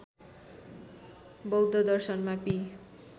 बौध दर्शनमा पि